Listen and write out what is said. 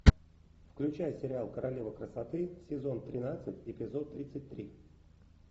включай сериал королева красоты сезон тринадцать эпизод тридцать три